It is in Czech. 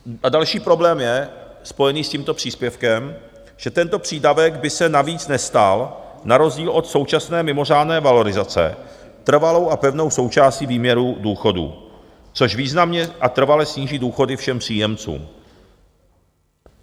A další problém je spojený s tímto příspěvkem, že tento přídavek by se navíc nestal na rozdíl od současné mimořádné valorizace trvalou a pevnou součástí výměru důchodů, což významně a trvale sníží důchody všem příjemcům.